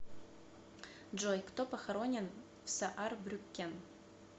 джой кто похоронен в саарбрюккен